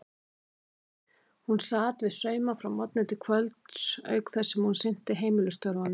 Hún sat við sauma frá morgni til kvölds auk þess sem hún sinnti heimilisstörfunum.